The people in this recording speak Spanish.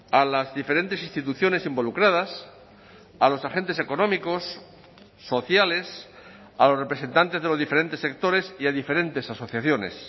a las diferentes instituciones involucradas a los agentes económicos sociales a los representantes de los diferentes sectores y a diferentes asociaciones